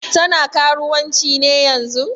Tana karuwanci ne yanzun?